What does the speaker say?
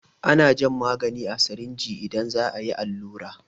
Ana jan magani a sirinji idan za a yi allura.